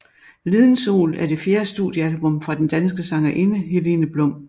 Liden Sol er det fjerde studiealbum fra den danske sangerinde Helene Blum